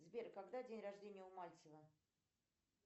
сбер когда день рождения у мальцева